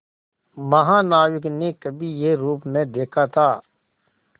महानाविक ने कभी यह रूप न देखा था